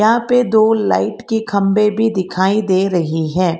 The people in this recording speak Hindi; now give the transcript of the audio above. यहां पे दो लाइट के खंभे भी दिखाई दे रहे है।